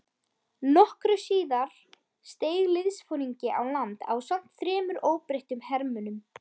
Nokkru síðar steig liðsforingi á land ásamt þremur óbreyttum hermönnum.